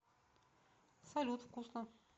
салют вкусно